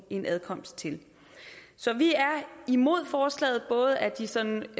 en adkomst til så vi er imod forslaget af den sådan